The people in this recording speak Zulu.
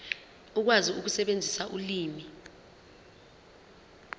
ukwazi ukusebenzisa ulimi